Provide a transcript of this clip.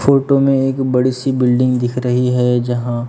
photo में एक बड़ी सी बिल्डिंग दिख रही है जहां--